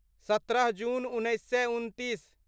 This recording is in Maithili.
सत्रह जून उन्नैस सए उनतीस